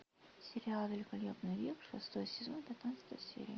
сериал великолепный век шестой сезон пятнадцатая серия